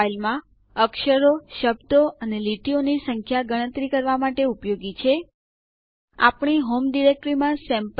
file system નું માપ અને તેની ઉપલબ્ધતા ચકાસવા માટે ડીએફ આદેશ